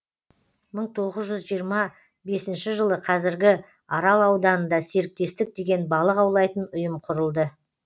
мың тоғыз жүз жиырма бесінші жылы қазіргі арал ауданында серіктестік деген балық аулайтын ұйым құрылды